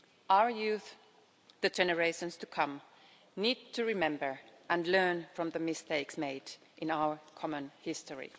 Our youth, the generations to come, need to remember and learn from the mistakes made in our common history.